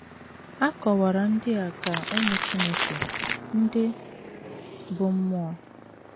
A kọwara ndị a dị ka “ ụmụ Chineke ” ndị bụ́ mmụọ.